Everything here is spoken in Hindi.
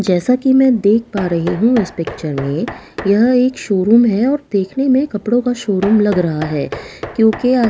जैसा कि मैं देख पा रही हूं इस पिक्चर में यह एक शोरूम है और देखने में कपड़ों का शोरूम लग आ रहा है क्योंकि आस-पास--